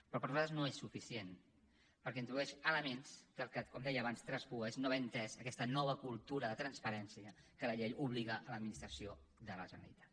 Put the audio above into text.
però per nosaltres no és suficient perquè introdueix elements que com deia abans el que traspuen és no haver entès aquesta nova cultura de transparència a què la llei obliga l’administració de la generalitat